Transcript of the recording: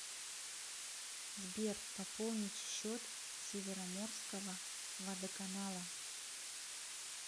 сбер пополнить счет североморского водоканала